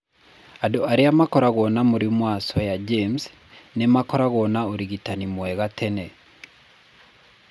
Andũ arĩa makoragwo na mũrimũ wa Swyer James nĩ maakoragwo na ũrigitani mwega tene.